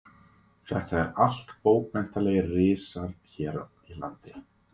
Þetta eru allt bókmenntalegir risar hér í landi.